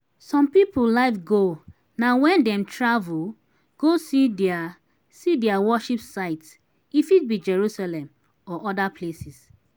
some pipo life goal na when dem travel go see their see their worship site e fit be jerusalem or oda places